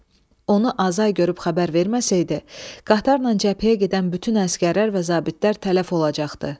Onu Azay görüb xəbər verməsəydi, qatarla cəbhəyə gedən bütün əsgərlər və zabitlər tələf olacaqdı.